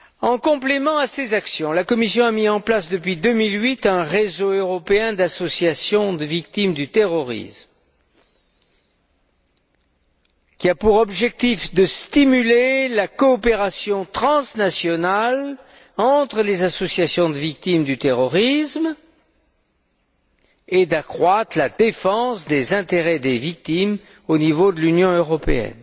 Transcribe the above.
En complément à ces actions, la Commission a mis en place, depuis 2008, un réseau européen d'associations de victimes du terrorisme, qui a pour objectif de stimuler la coopération transnationale entre les associations de victimes du terrorisme et d'améliorer la défense des intérêts des victimes au niveau de l'Union européenne.